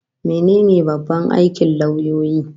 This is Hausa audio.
Mene ne babban aikin lauyoyi?